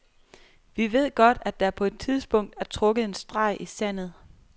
Vi ved godt, at der på et tidspunkt er trukket en streg i sandet.